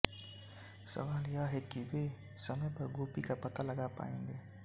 सवाल यह है कि वे समय पर गोपी का पता लगा पाएंगे